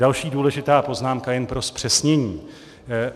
Další důležitá poznámka, jen pro zpřesnění.